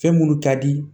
Fɛn minnu ka di